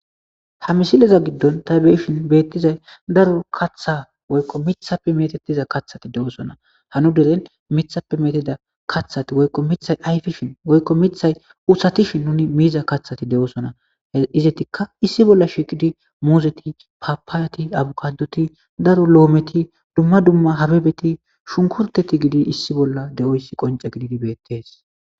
ha misileza giddon ta beyishin beettizay daro katha woykko mithappe metetiza kaththati de7oosona hanu deren mithappe meteda kathati woykko mithay ayfishin woykko mithay usatishin nuni miiza kathati de7oosona izetikka issi bolla shiqidi muuzeti paapaayati abukadoti daru lo7ometi dumma dumma hababeti shunkurteti gidi issi bolla de7oyssi qonce gididi beettees